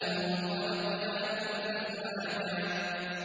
وَخَلَقْنَاكُمْ أَزْوَاجًا